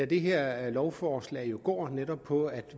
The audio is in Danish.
det her lovforslag går jo på at